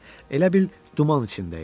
Elə bil duman içində idi.